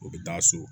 U bɛ taa so